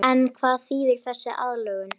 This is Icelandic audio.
En hvað þýðir þessi aðlögun?